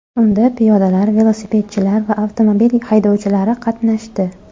Unda piyodalar, velosipedchilar va avtomobil haydovchilari qatnashdi.